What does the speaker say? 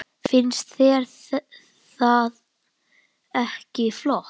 Finnst þér það ekki flott?